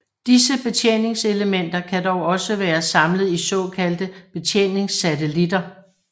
Disse betjeningselementer kan dog også være samlet i såkaldte betjeningssatelitter